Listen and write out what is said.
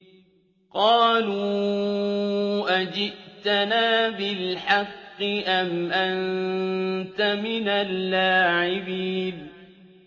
قَالُوا أَجِئْتَنَا بِالْحَقِّ أَمْ أَنتَ مِنَ اللَّاعِبِينَ